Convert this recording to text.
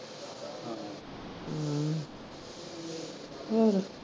ਹਮ